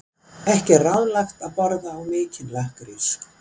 Ekki er ráðlegt að borða of mikinn lakkrís.